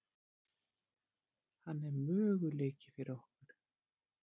Hann er möguleiki fyrir okkur.